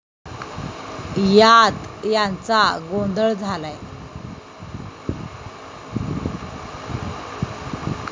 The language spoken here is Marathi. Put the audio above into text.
यात यांचा गोंधळ झालाय.